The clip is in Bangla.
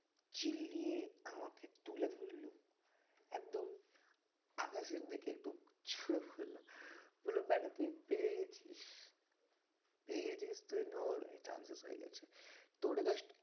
চিল্লিয়ে আমাকে তুলে ধরল একদম আকাশের দিকে একটু ছুড়ে বলল বলল ব্যাটা তুই পেয়ে গেছিস পেয়ে গেছিস তুই chances হয়ে গেছে তো ওটা